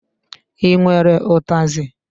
I nwere ụtazi?